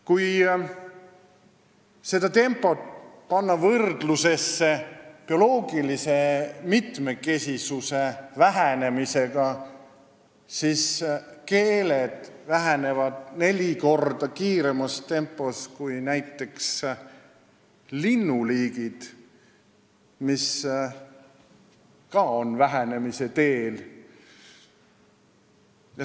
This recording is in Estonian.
Kui seda tempot võrrelda bioloogilise mitmekesisuse vähenemise tempoga, siis keelte arv kahaneb neli korda kiiremas tempos kui näiteks linnuliikide arv, mis ka on vähenemise teel.